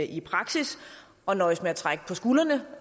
i praksis og nøjes med at trække på skuldrene